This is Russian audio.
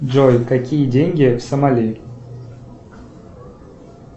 джой какие деньги в сомали